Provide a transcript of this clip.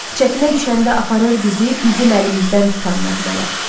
Çətinə düşəndə aparır bizi, bizim əlimizdən tutan nəğmələr.